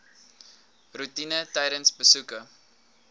roetine tydens besoeke